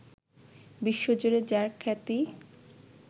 বিশ্বজুড়ে যাঁর খ্যাতি